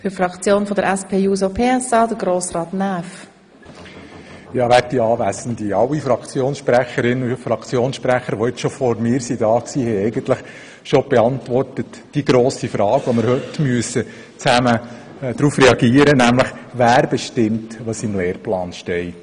Alle Fraktionssprecherinnen und Fraktionssprecher, die vor mir am Rednerpult waren, haben die grosse Frage, die wir heute zusammen beantworten müssen, eigentlich bereits beantwortet, nämlich: Wer bestimmt, was im Lehrplan steht?